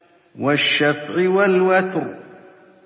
وَالشَّفْعِ وَالْوَتْرِ